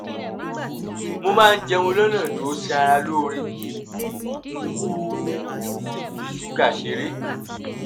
mo máa ń jẹun lọ́nà tó ṣara lóore n kò sì fi ṣúgà ṣeré